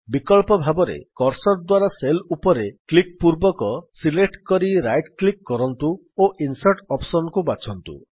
ବିକଳ୍ପ ଭାବରେ କର୍ସର୍ ଦ୍ୱାରା ସେଲ୍ ଉପରେ କ୍ଲିକ୍ ପୂର୍ବକ ସିଲେକ୍ଟ କରି ରାଇଟ୍ କ୍ଲିକ୍ କରନ୍ତୁ ଓ ଇନ୍ସର୍ଟ୍ ଅପ୍ସନ୍ ବାଛନ୍ତୁ